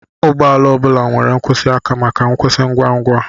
Ụgbọ ala ọ bụla nwere nkwụsị aka maka nkwụsị ngwa ngwa